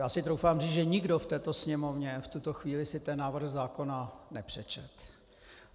Já si troufám říci, že nikdo v této Sněmovně v tuto chvíli si ten návrh zákona nepřečetl.